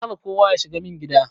Kar kowa yashiga min gida.